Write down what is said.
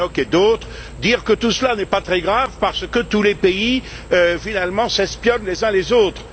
Tannock et d'autres, dire que tout cela n'est pas très grave parce que tous les pays, finalement, s'espionnent les uns les autres.